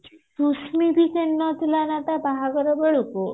ସୁଶ୍ମି ବି କିଣି ନଥିଲା ତା ବାହାଘର ବେଳକୁ